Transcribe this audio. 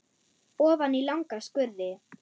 Ofan í langa skurði.